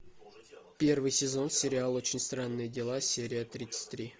первый сезон сериал очень странные дела серия тридцать три